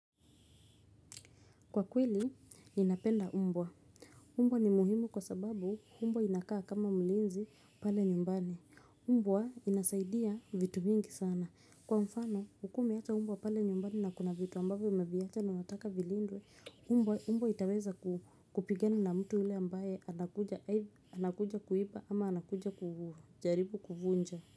Kwa kweli, ninapenda umbwa. Umbwa ni muhimu kwa sababu umbwa inakaa kama mlinzi pale nyumbani. Umbwa inasaidia vitu mingi sana. Kwa mfano, ukiwa umeacha umbwa pale nyumbani na kuna vitu ambavyo umeviacha na unataka vilindwe, umbwa itaweza kupigana na mtu yule ambaye anakuja kuiba ama anakuja kujaribu kuvunja.